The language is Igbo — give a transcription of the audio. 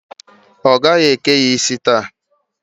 Ọ gaghị eke ya isi taa.